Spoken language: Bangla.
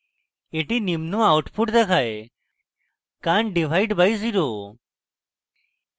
the নিম্ন output দেখায় can t divide by zero!